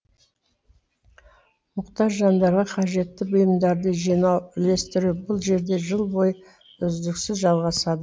мұқтаж жандарға қажетті бұйымдарды жинау үлестіру бұл жерде жыл бойы үздіксіз жалғасады